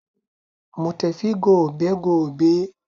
Mu tafi gobe gobe.